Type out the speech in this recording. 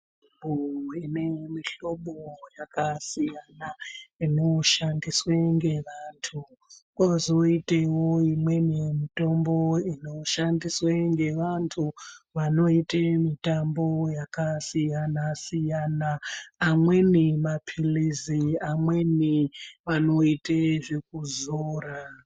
Kune mihlobo yakasiyana inoshandiswe ngevantu, kwozoitewo imweni mitombo inoshandiswa ngevantu vanoite mitambo yakasiyanasiyana amweni mapilizi , amweni vanoite zvekuzora.